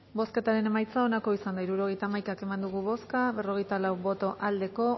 bozketaren emaitza onako izan da hirurogeita hamaika eman dugu bozka berrogeita lau boto aldekoa